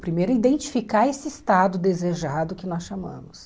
Primeiro é identificar esse estado desejado que nós chamamos.